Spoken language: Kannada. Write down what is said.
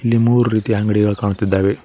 ಇಲ್ಲಿ ಮೂರು ರೀತಿಯ ಅಂಗಡಿಗಳು ಕಾಣುತ್ತಿದ್ದಾವೆ.